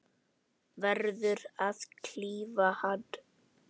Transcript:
Verður að klífa hann.